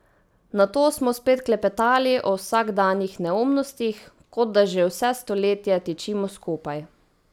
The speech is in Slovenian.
Nato smo spet klepetali o vsakdanjih neumnostih, kot da že vse stoletje tičimo skupaj.